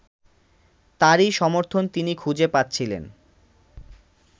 তারই সমর্থন তিনি খুঁজে পাচ্ছিলেন